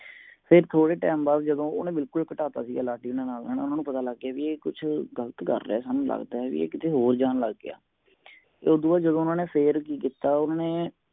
ਫਿਰ ਥੋੜੇ time ਬਾਦ ਜਦੋ ਉਨੇ ਬਿਲਕੁਲ ਹੀ ਖ਼ਦਾਤਾ ਸੀ ਲਾਡੀ ਦੇ ਨਾਲ ਹੇਨਾ ਉਣੋ ਪਤਾ ਲੱਗ ਗਯਾ ਕੇ ਇਹ ਕੁਛ ਗ਼ਲਤ ਕਰ ਰਿਹਾ ਕਿ ਇਹ ਕਿਥੇ ਹੋਰ ਜਾਨ ਲੱਗਿਆ ਤੇ ਉਦੋਂ ਬਾਦ ਊਨਾ ਨੇ ਫਿਰ ਕਿ ਕੀਤਾ ਉਨ੍ਹਾਂਨੇ